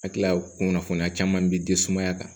A tila kunnafoniya caman bi den sumaya kan